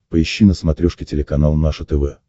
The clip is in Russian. поищи на смотрешке телеканал наше тв